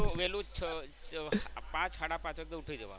પાંચ સાડા પાંચે તો ઉઠી જવાનું.